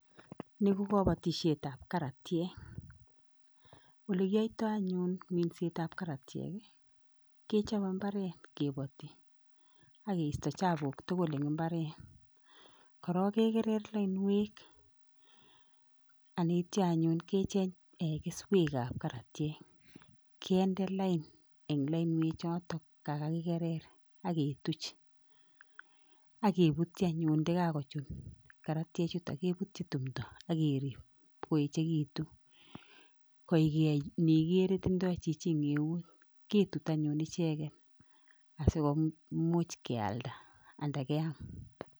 Niko kabatisietab karatiek. alekiyaitai anyun minsetab karatiek, kechabei imbaret kebati AK keista chabuk tugul eng imbaret, korok kekerer lainwek ameityo anyun echeny keswek ab karatyek, kende lain eng lainwek chotok kakakikerer AK ketuch akebutchi anyun ndekakochun kararatyet chutok AK kerib agoi koechekitu koigeichi igere tindoi chichi eng eut.